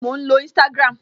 Bẹẹni, mò ń lo Instagram